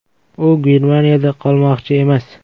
U Germaniyada qolmoqchi emas.